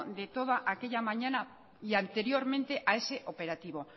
de toda aquella mañana y anteriormente a ese operativo